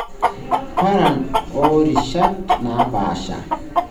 Paran oorishat naapaasha.